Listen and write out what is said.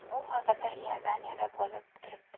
U hozirda Iordaniyada bo‘lib turibdi.